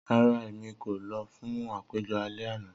Rara, Emi ko lọ fun apejọ alẹ ana.